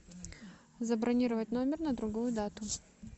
забронировать номер на другую дату